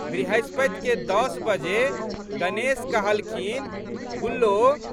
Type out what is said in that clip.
बृहस्पतिके दस बजे गणेश कहलखिन, गुल्लो!